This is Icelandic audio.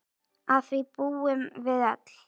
Að því búum við öll.